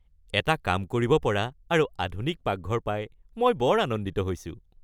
এটা কাম কৰিব পৰা আৰু আধুনিক পাকঘৰ পাই মই বৰ আনন্দিত হৈছোঁ।